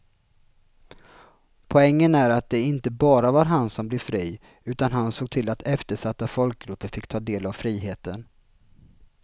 Poängen är att det inte bara var han som blev fri utan han såg till att eftersatta folkgrupper fick ta del av friheten.